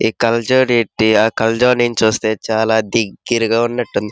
ఇ కళ్లజోడు పెట్టి ఆ కళ్లజోడు నించి నుండి చుస్తే చాలా దగారిగా ఉన్నటుంది.